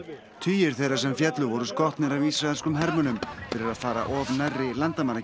tugir þeirra sem féllu voru skotnir af ísraelskum hermönnum fyrir að fara of nærri